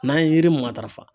N'an ye yiri mun matarafa